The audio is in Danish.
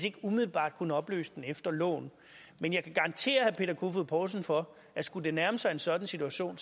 ikke umiddelbart kunne opløse den efter loven men jeg kan garantere herre peter kofod poulsen for at skulle det nærme sig en sådan situation